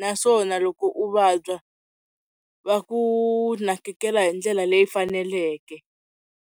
naswona loko u vabya va ku nakekela hi ndlela leyi faneleke.